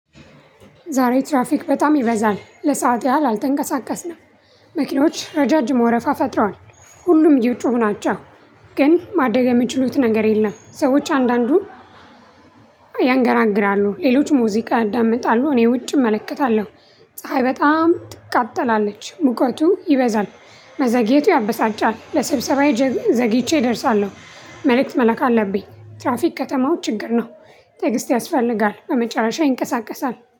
ዛሬ ትራፊክ በጣም ይበዛል ለሰአት ያህል አልተንቀሳቀስንም። መኪኖች ረጃጅም ወረፋ ፈጥረዋል። ሁሉም እየጮሁ ናቸው። ግን ማደረግ የሚችሉት ነገር የለም። ሰዎች አንዳንዱን ያንገራግራሉ ሌሎች ሙዚቃ ያዳምጣሉ። እኔ ውጭ እመለከታለሁ። ፀሀይ በጣም ትቃጠላለች ሙቀቱ ይበዛል። መዘግየቱ ያበሳጫል ለስብሰባዬ ዘግይቼ እደርሳለሁ። መልእክት መላክ አለብኝ። ትራፊክ ከተማው ችግር ነው። ትዕግስት ያስፈልጋል በመጨረሻ ይንቀሳቀሳል